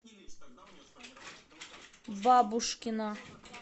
бабушкина